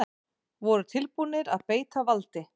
Voru tilbúnir að beita valdi